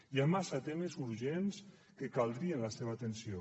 hi ha massa temes urgents en què caldria la seva atenció